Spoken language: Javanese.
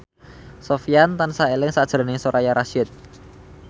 Sofyan tansah eling sakjroning Soraya Rasyid